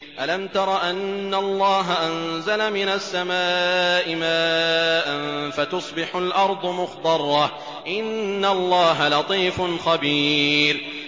أَلَمْ تَرَ أَنَّ اللَّهَ أَنزَلَ مِنَ السَّمَاءِ مَاءً فَتُصْبِحُ الْأَرْضُ مُخْضَرَّةً ۗ إِنَّ اللَّهَ لَطِيفٌ خَبِيرٌ